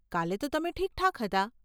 કાલે તો તમે ઠીકઠાક હતા.